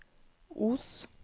Os